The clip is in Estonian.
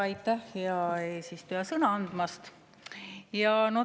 Aitäh, hea eesistuja, sõna andmast!